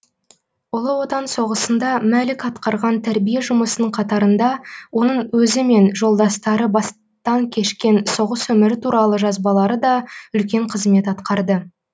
ұлы отан соғысында мәлік атқарған тәрбие жұмысының қатарында оның өзі мен жолдастары бастан кешкен соғыс өмірі туралы жазбалары да үлкен қызмет атқарды